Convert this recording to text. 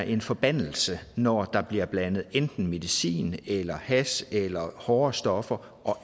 en forbandelse når der bliver blandet enten medicin eller hash eller hårde stoffer og